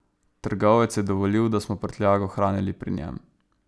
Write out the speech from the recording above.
Trgovec je dovolil, da smo prtljago hranili pri njem.